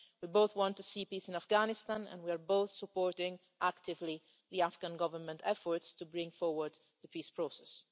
we both want to see peace in Afghanistan and we are both actively supporting the Afghan Government's efforts to bring forward the peace process.